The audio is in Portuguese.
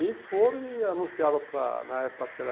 E foram e anunciaram para, na época acho que era...